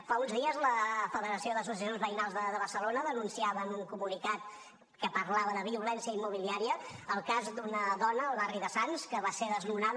fa uns dies la federació d’associacions veïnals de barcelona denunciava en un comunicat que parlava de violència immobiliària el cas d’una dona al barri de sants que va ser desnonada